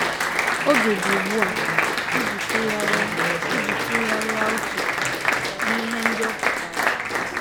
Oge dị ugbu a iji tụgharịa iji tụgharịa uche n’ihe ndị ọ pụtara.